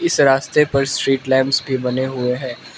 इस रास्ते पर स्ट्रीट लैंप्स भी बने हुए है।